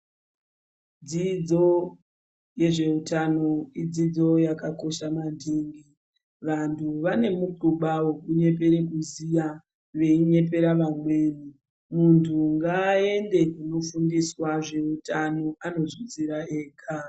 Dzidzo yezveutano ,idzidzo yakakosha maningi. Vanhu vane mukhuba wokunyepere kuziya, veinyepera vamweni. Muntu ngaaende kunofundiswa zveutano, anozvizwira ega.